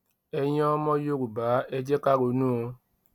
ẹ̀yin ọmọ yorùbá ẹ jẹ́ ká ronú o